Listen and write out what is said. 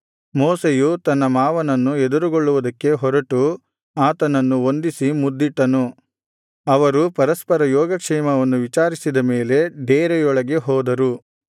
ಮೋಶೆಯು ತನ್ನ ಮಾವನನ್ನು ಎದುರುಗೊಳ್ಳುವುದಕ್ಕೆ ಹೊರಟು ಆತನನ್ನು ವಂದಿಸಿ ಮುದ್ದಿಟ್ಟನು ಅವರು ಪರಸ್ಪರ ಯೋಗಕ್ಷೇಮವನ್ನು ವಿಚಾರಿಸಿದ ಮೇಲೆ ಡೇರೆಯೊಳಗೆ ಹೋದರು